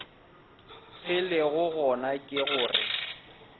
se lego gona ke gore